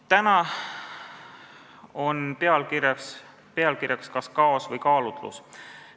Täna küsitakse pealkirjas, kas kaos või kaalutlus.